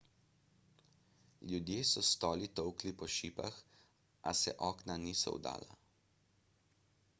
ljudje so s stoli tolkli po šipah a se okna niso vdala